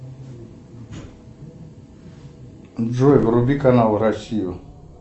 джой вруби канал россию